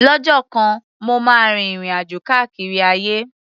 Lọ́jọ́ kan, mo máa rin ìrìn-àjò káàkiri ayé.